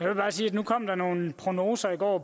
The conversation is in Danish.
jeg bare sige at nu kom der nogle prognoser i går